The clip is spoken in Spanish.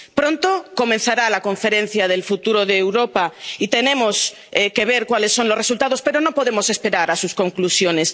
Pronto comenzará la Conferencia sobre el Futuro de Europa y tenemos que ver cuáles son los resultados, pero no podemos esperar a sus conclusiones.